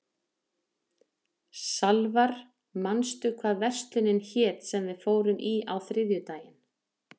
Salvar, manstu hvað verslunin hét sem við fórum í á þriðjudaginn?